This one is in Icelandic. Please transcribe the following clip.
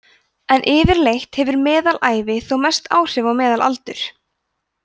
en yfirleitt hefur meðalævi þó mest áhrif á meðalaldur